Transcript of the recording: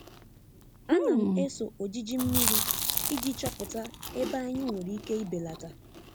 A na m eso ojiji mmiri iji chọpụta ebe anyị nwere ike ibelata.